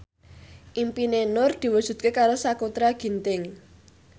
impine Nur diwujudke karo Sakutra Ginting